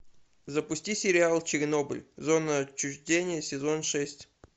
запусти сериал чернобыль зона отчуждения сезон шесть